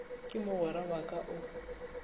ke mogwera wa ka o